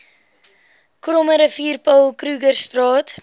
krommerivier paul krugerstraat